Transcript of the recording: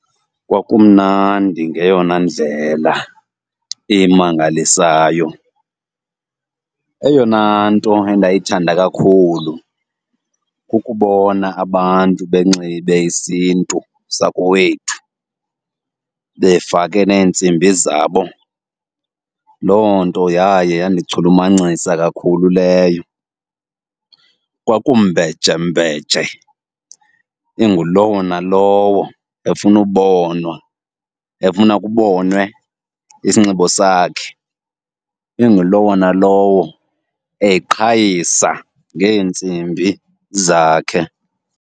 Kwakumnandi ngeyona ndlela emangalisayo. Eyona nto endayithanda kakhulu kukubona abantu benxibe isiNtu sakowethu befake neentsimbi zabo, loo nto yaye yandichulumancisa kakhulu leyo. Kwaku mbejembeje ingulowo nalowo efuna ubonwa, efuna kubonwe isinxibo sakhe. Ingulowo nalowo eqhayisa ngeentsimbi zakhe.